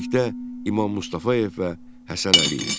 Bitkiçilikdə İmam Mustafayev və Həsən Əliyev.